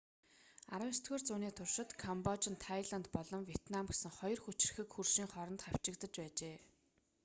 18-р зууны туршид камбож нь тайланд болон вьетнам гэсэн хоёр хүчирхэг хөршийн хооронд хавчигдаж байжээ